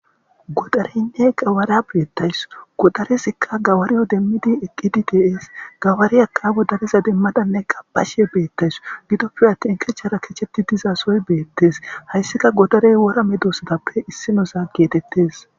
Godareynne qawara beettaysu godarezikka gawariyo demmidi eqqidi de7es gawariaka godareza demmadanne qabashe beettawusu gidoppe attin kechara kecheti diiza sohoy beettees hayssika godarey wora medosatappe issinoza geetettes.